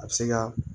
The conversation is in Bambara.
A bɛ se ka